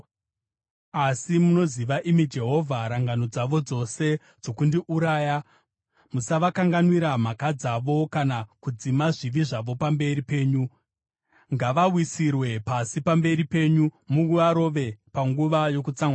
Asi munoziva, imi Jehovha, rangano dzavo dzose dzokundiuraya. Musavakanganwira mhaka dzavo kana kudzima zvivi zvavo pamberi penyu. Ngavawisirwe pasi pamberi penyu, muvarove panguva yokutsamwa kwenyu.